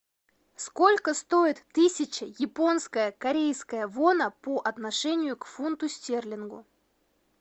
сколько стоит тысяча японская корейская вона по отношению к фунту стерлингу